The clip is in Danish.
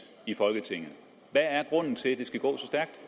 i folketinget hvad er grunden til at det skal gå